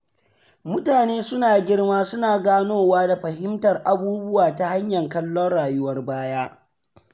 Mutane suna girma suna ganowa da fahimtar abubuwa ta hanyar kallon rayuwar baya.